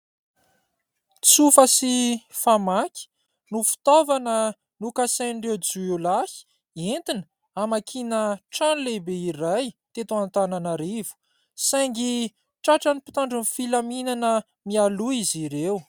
Tsofa sy famaky no fitaovana nokasain'ireo jiolahy entina hamakiana trano lehibe iray teto Antananarivo saingy tratran'ny mpitandron'ny filaminana mialoha izy ireo.